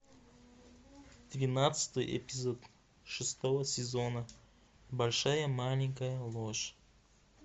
двенадцатый эпизод шестого сезона большая маленькая ложь